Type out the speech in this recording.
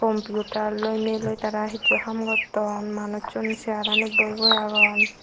compiutar loi niloi tara hissu haam gotton manussun searanit boi boi agon.